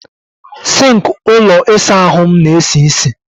Sink ụlọ ịsa ahụ m na-esi isi.